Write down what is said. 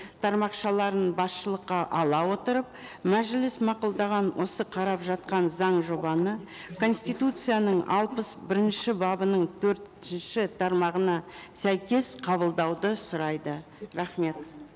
тармақшаларын басшылыққа ала отырып мәжіліс мақұлдаған осы қарап жатқан заң жобаны конституцияның алпыс бірінші бабының төртінші тармағына сәйкес қабылдауды сұрайды рахмет